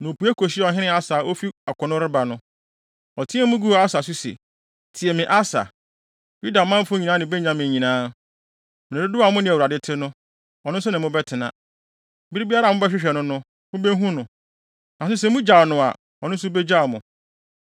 na opue kohyiaa ɔhene Asa a ofi akono reba no. Ɔteɛɛ mu guu Asa so se, “Tie me, Asa, Yudamanfo nyinaa ne Benyamin muntie. Mmere dodow a mo ne Awurade te no, ɔno nso ne mo bɛtena. Bere biara a mobɛhwehwɛ no no, mubehu no. Nanso sɛ mugyaw no a, ɔno nso begyaw mo.